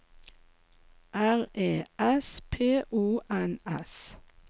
R E S P O N S